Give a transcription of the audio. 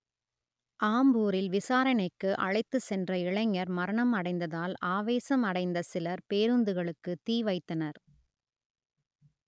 ஆம்பூரில் விசாரணைக்கு அழைத்துச் சென்ற இளைஞர் மரணம் அடைந்ததால் ஆவேசம் அடைந்த சிலர் பேருந்துகளுக்கு தீ வைத்தனர்